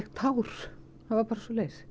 tár það var bara svoleiðis